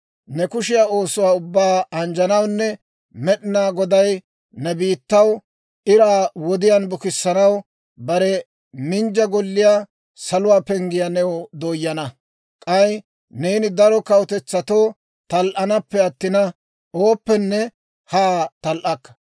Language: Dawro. «Ne kushiyaa oosuwaa ubbaa anjjanawunne, Med'inaa Goday ne biittaw iraa wodiyaan bukissanaw bare minjja golliyaa, saluwaa penggiyaa new dooyana; k'ay neeni daro kawutetsatoo tal"anappe attina, ooppenne haa tal"akka.